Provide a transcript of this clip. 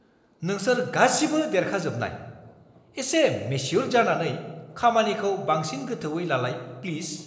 नोंसोर गासिबो देरखाजोबनाय! एसे मेस्युर जानानै खामानिखौ बांसिन गोथौवै लालाय, प्लिज!